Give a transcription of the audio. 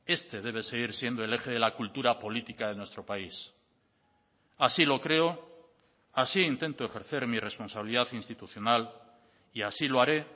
este debe seguir siendo el eje de la cultura política de nuestro país así lo creo así intento ejercer mi responsabilidad institucional y así lo haré